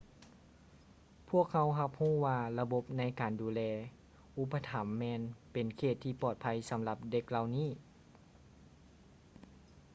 ພວກເຮົາຮັບຮູ້ວ່າລະບົບໃນການດູແລອຸປະຖໍາແມ່ນເປັນເຂດທີ່ປອດໄພສຳລັບເດັກເຫຼົ່ານີ້